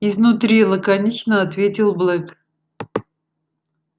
изнутри лаконично ответил блэк